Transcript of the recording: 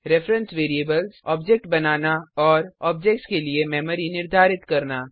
reference variables object बनाना और objects के लिए मेमरी निर्धारित करना